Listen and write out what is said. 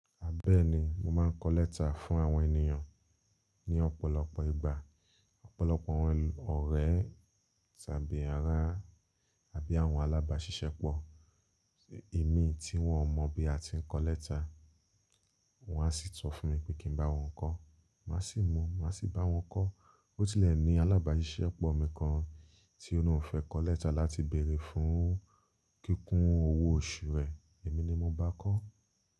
A bẹ́ẹ̀ni, mo máa ń kọ lẹ́tà fún àwọn ènìyàn ní ọ̀pọ̀lọpọ̀ ìgbà. Ọ̀pọ̀lọpọ̀ àwọn ọ̀rẹ́ tàbí ará tàbí àwọn alábàáṣiṣẹ́pọ̀, èmi tí wọn ò mọ̀ bí a ti ń kọ lẹ́tà, wọn a sì tọ fún mi pé kí n bá wọn kọ̀. Màá sì mọ̀, màá sì bá wọn kọ̀. O tí lẹ ní alábàáṣiṣẹ́pọ̀ mi kan tí ó l'oun fẹ́ kọ lẹ́tà láti bèrè fún kíkún owó oṣù rẹ̀, èmi ni mo bá a kọ́